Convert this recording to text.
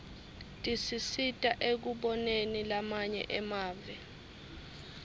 tisisita ekuboneni lamanye emave